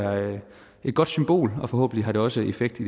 et godt symbol og forhåbentlig har det også effekt i